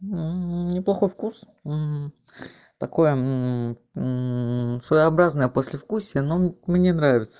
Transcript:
неплохой вкус такое мм своеобразное послевкусие но мне нравится